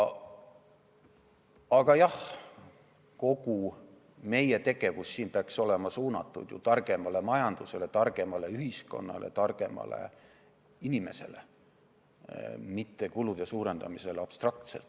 Aga jah, kogu meie tegevus siin peaks olema suunatud targemale majandusele, targemale ühiskonnale ja targemale inimesele, mitte kulude suurendamisele abstraktselt.